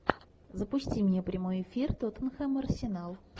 запусти мне прямой эфир тоттенхэм арсенал